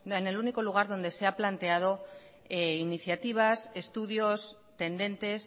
en el único lugar donde se ha planteado iniciativas estudios tendentes